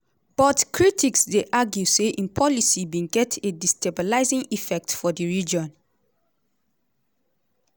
but critics dey argue say im policy bin get a destabilising effect for di region.